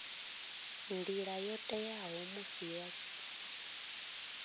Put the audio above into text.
nḓila yo teaho musi vha